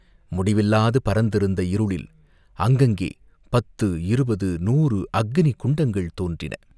முடிவில்லாது பரந்திருந்த இருளில் அங்கங்கே பத்து, இருபது, நூறு அக்கினி குண்டங்கள் தோன்றின.